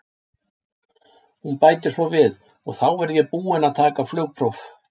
Hún bætir svo við: og þá verð ég búin að taka flugpróf.